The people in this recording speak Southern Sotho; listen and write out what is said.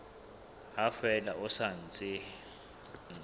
ha fela ho sa ntse